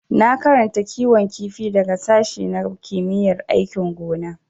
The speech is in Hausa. Na karanta kiwon kifi daga sashi na kimiyyar aikin gona.